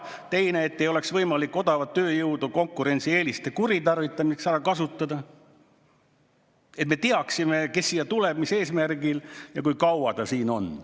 Teine, et ei oleks võimalik odavat tööjõudu konkurentsieeliste kuritarvitamiseks ära kasutada, et me teaksime, kes siia tuleb, mis eesmärgil ja kui kaua ta siin on.